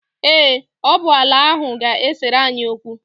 Ee, ọ bụ ala ahụ ga-esere anyị okwu.